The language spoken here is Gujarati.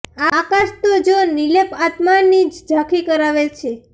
આકાશ તો જો નિર્લેપ આત્માની જ ઝાંખી કરાવે છે